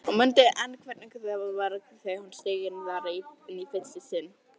Hún mundi enn hvernig það var þegar hún steig þar inn í fyrsta sinn.